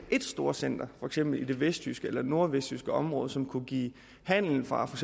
et storcenter for eksempel i det vestjyske eller nordvestjyske område som kunne give handel fra for